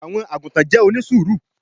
àwọn àgùtàn jẹ́ onísùúrù